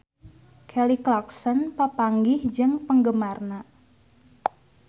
Kelly Clarkson papanggih jeung penggemarna